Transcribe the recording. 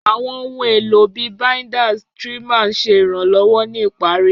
Àwọn ohun èlò bíi binders, trimmers ń ṣe ìrànlọ́wọ́ ní ìparí.